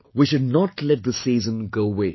We should not let this season go waste